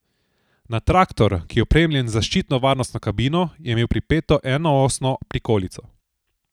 Na traktor, ki je opremljen z zaščitno varnostno kabino, je imel pripeto enoosno prikolico.